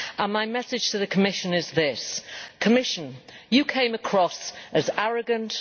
My message to the Commission is this Commission, you came across as arrogant.